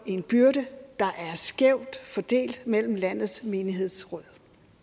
en byrde der er skævt fordelt mellem landets menighedsråd